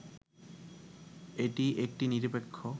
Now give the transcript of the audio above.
এটি একটি নিরপেক্ষ